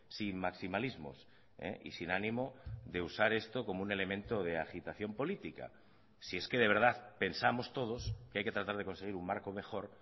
sin maximalismos y sin ánimo de usar esto como un elemento de agitación política si es que de verdad pensamos todos que hay que tratar de conseguir un marco mejor